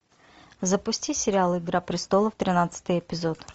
запусти сериал игра престолов тринадцатый эпизод